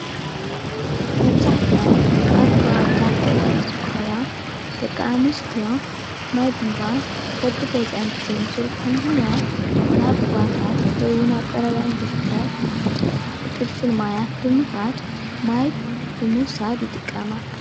መብዛሕትኤን ኣብ ከባብታት ገጠር ዝርከባ ደቂ ኣንስትዮ ማይ ቡንቧ በቢገዝአን ብዘይምዝርግሑ ምኽንያት ናብ ሩባታት ወይ እዉን ናብ ቀረብአን ዝርከብ ፍልፍል ማያት ብዃድ ማይ ብምዉሳድ ይጥቀማ፡፡